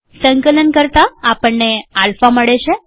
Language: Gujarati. સંકલન કરતાઆપણને આલ્ફા મળે છે